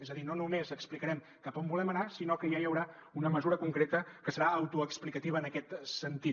és a dir no només explicarem cap a on volem anar sinó que ja hi haurà una mesura concreta que serà autoexplicativa en aquest sentit